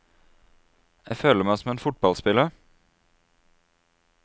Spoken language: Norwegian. Jeg føler meg som en fotballspiller.